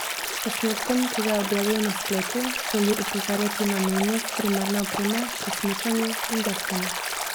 S posnetkom, ki ga je objavil na spletu, želi opozarjati na nujnost primerne opreme pri smučanju in deskanju.